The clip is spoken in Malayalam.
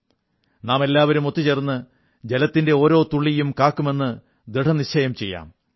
നാമെല്ലാവരും ഒത്തുചേർന്ന് ജലത്തിന്റെ ഓരോ തുള്ളിയും കാക്കുമെന്ന് ദൃഢനിശ്ചയം ചെയ്യാം